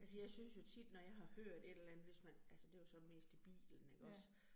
Altså jeg synes jo tit, når jeg har hørt et eller andet, hvis man, altså det jo så mest i bilen ikke også